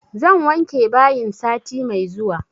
Zan wanke bayin sati mai zuwa